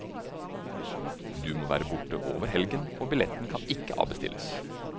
Du må være borte over helgen og billetten kan ikke avbestilles.